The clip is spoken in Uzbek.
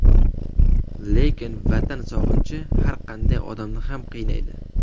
Lekin Vatan sog‘inchi har qanday odamni ham qiynaydi.